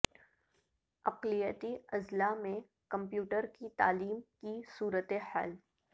اقلیتی اضلاع میں کمپیوٹر کی تعلیم کی صورتحال